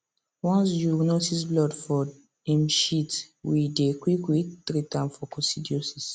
once you notice blood for em shit we dey quick quick treat am for coccidiosis